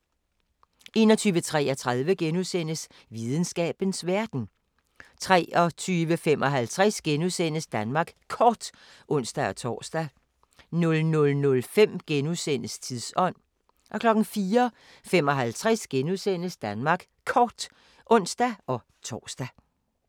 21:33: Videnskabens Verden * 23:55: Danmark Kort *(ons-tor) 00:05: Tidsånd * 04:55: Danmark Kort *(ons-tor)